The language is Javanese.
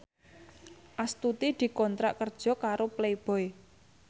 Astuti dikontrak kerja karo Playboy